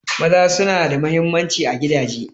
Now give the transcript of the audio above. Maza suna da mahimmanci a gidaje.